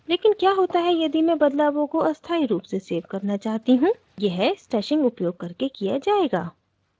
लेकिन क्या होता है यदि मैं बदलावों को अस्थायी रूप से सेव करना चाहती हूँ यह stashing उपयोग करके किया जाएगा